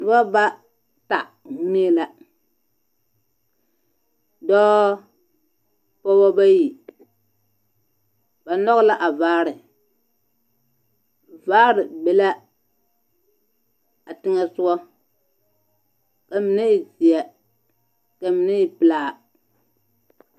Noba ba, ta mine la. Dɔɔ, pɔɔba bayi. Ba nɔge la a vaare. Vaare be la a neŋɛsogɔ, ka mine e zeɛ Ka mine e pelaa.